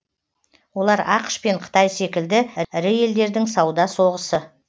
олар ақш пен қытай секілді ірі елдердің сауда соғысы